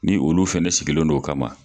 Ni olu fɛnɛ sigilen don o kama.